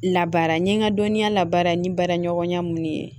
Labaara n ye n ka dɔnniya labaara ni baaraɲɔgɔnya minnu ye